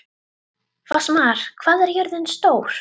Fossmar, hvað er jörðin stór?